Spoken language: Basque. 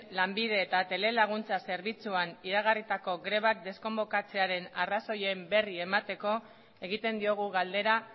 lanbide eta telelaguntza zerbitzuan iragarritako grebak deskonbokatzearen arrazoien berri emateko egiten diogu galdera